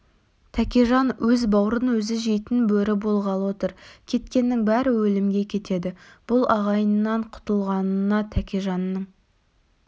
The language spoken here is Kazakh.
тәкежан өз баурын өзі жейтін бөрі болғалы отыр кеткеннің бәрі өлімге кетеді бұл ағайыннан құтылатынына тәкежанның